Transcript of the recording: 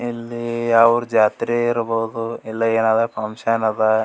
ಇಲ್ಲಿ ಯಾವುರ ಜಾತ್ರೆ ಇರಬಹುದು ಇಲ್ಲಾ ಏನಾರ ಫಂಕ್ಷನ ಅದ.